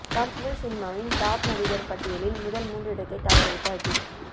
தமிழ் சினிமாவின் டாப் நடிகர்கள் பட்டியலில் முதல் மூன்று இடத்தை தவறவிட்ட அஜித்